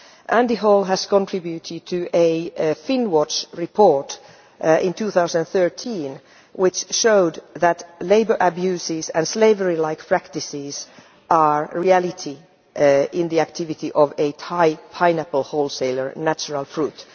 Andy Hall contributed to a Finnwatch report in 2013, which showed that labour abuses and slavery-like practices are a reality in the activity of a Thai pineapple wholesaler, Natural Fruit.